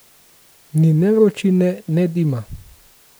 Ni ne vročine ne dima.